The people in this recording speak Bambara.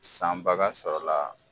Sanbaga sɔrɔla